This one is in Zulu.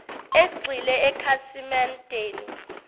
egxile ekhasimen deni